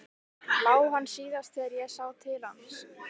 LÁ HANN SÍÐAST ÞEGAR ÉG SÁ TIL HANS.